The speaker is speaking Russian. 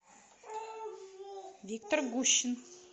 виктор гущин